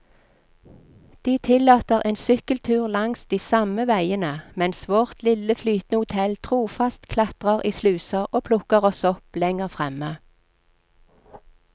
De tillater en sykkeltur langs de samme veiene, mens vårt lille flytende hotell trofast klatrer i sluser og plukker oss opp lenger fremme.